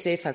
sf har